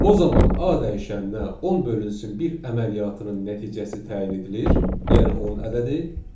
O zaman A dəyişəninə 10 bölünsün bir əməliyyatının nəticəsi təyin edilir, yəni 10 ədədi.